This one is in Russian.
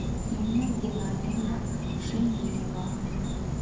инна геннадьевна шеменева